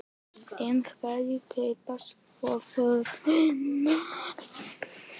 En hverjir kaupa svo vörurnar?